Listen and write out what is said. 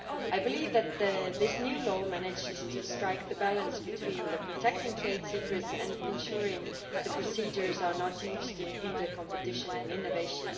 I believe that this new law manages to strike the balance between protecting trade secrets and ensuring that procedures are not used to hinder competition and innovation.